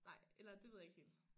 Nej eller det ved jeg ikke helt